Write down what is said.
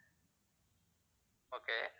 okay